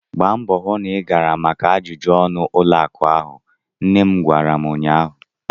Gbaa mbọọ hụ na ị gara maka ajụjụ ọnụ ụlọ akụ ahụ! nne m gwara m ụnyaahụ.